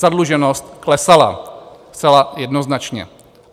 Zadluženost klesala zcela jednoznačně.